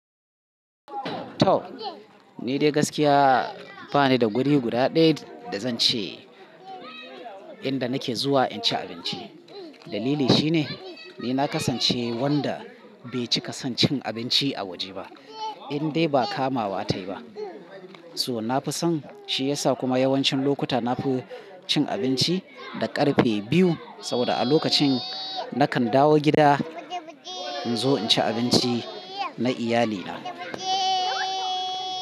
To! Ni dai gaskiya ba ni da guri guda ɗaya da zan ce inda nake zuwa in ci abinci. Dalili shine ni na kasance wanda bai cika son cin abinci a waje ba, indai ba kamawa tayi ba. So na fi son, shi yasa kuma yawancin lokuta nafi cin abinci da ƙarfe biyu. Saboda a lokacin nakan dawo gida in zo in ci abinci na iyalina.